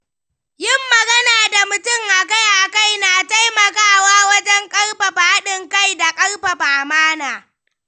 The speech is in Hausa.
Yin magana da mutum akai-akai na taimakawa wajen ƙarfafa haɗin kai da ƙarfafa amana.